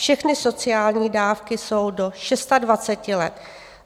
Všechny sociální dávky jsou do 26 let.